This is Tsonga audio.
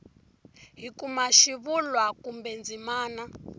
hi kuma xivulwa kumbe ndzimana